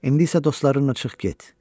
İndi isə dostlarınla çıx get.